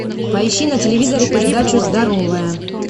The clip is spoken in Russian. поищи на телевизоре передачу здоровое